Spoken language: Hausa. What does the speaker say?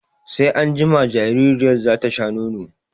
Sai anjima jaririyar za ta sha nono.